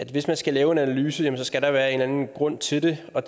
hvis man skal lave en analyse skal der være en eller anden grund til det og